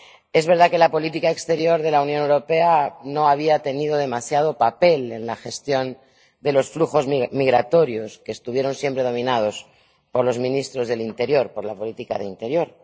Es verdad que la política exterior de la Unión Europea no había tenido demasiado papel en la gestión de los flujos migratorios, que estuvieron siempre dominados por los ministros del Interior, por la política de interior.